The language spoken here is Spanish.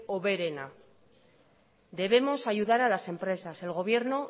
hoberena debemos ayudar a las empresas el gobierno